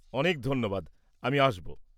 অনেক ধন্যবাদ, আমি আসব।